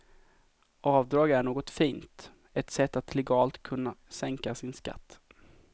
Avdrag är något fint, ett sätt att legalt kunna sänka sin skatt.